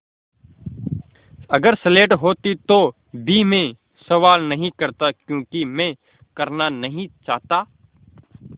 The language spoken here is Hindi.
अगर स्लेट होती तो भी मैं सवाल नहीं करता क्योंकि मैं करना नहीं चाहता